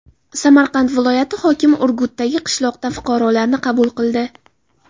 Samarqand viloyati hokimi Urgutdagi qishloqda fuqarolarni qabul qildi.